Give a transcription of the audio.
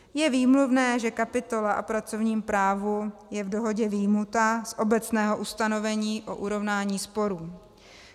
Je výmluvné, že kapitola o pracovním právu je v dohodě vyjmuta z obecného ustanovení o urovnání sporů.